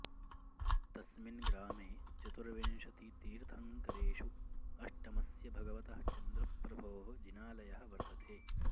तस्मिन् ग्रामे चतुर्विंशतितीर्थङ्करेषु अष्टमस्य भगवतः चन्द्रप्रभोः जिनालयः वर्तते